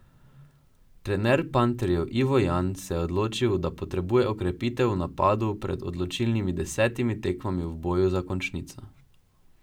Trener panterjev Ivo Jan se je odločil, da potrebuje okrepitev v napadu pred odločilnimi desetimi tekmami v boju za končnico.